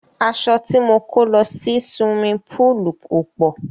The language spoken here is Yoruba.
Aṣọ ti mo kó lọ sí suwimi póòlù ò pọ̀.